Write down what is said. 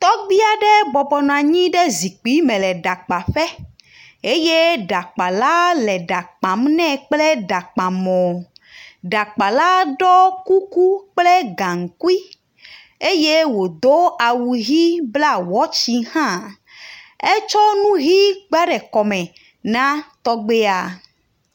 Tɔgbi aɖe bɔbɔnɔ anyi ɖe zikpi me le ɖakpaƒe eye ɖakpala le ɖa kpam nɛ kple ɖakpamɔ. Ɖakpala ɖo kuku kple gaŋkui eye wodo awu ɣi bla watchi hã, etsɔ nu ɣi kpla ɖe kɔme na tɔgbia.